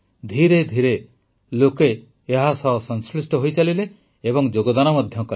ଧିରେ ଧିରେ ଲୋକ ଏହା ସହ ସଂଶ୍ଳିଷ୍ଟ ହୋଇ ଚାଲିଲେ ଏବଂ ଯୋଗଦାନ କଲେ